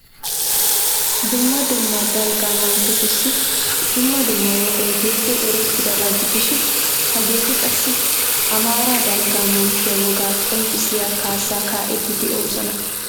Dumma dumma dalgga manttetussi dumma dumma wogay diyogee erettidaba gidishin hageeti qassi Amaara dalgga manttiya wogaa qonccissiya kaassaa kaa'iiddi de'oosona.